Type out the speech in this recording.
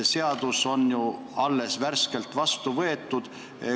Seadus on ju alles värskelt vastu võetud.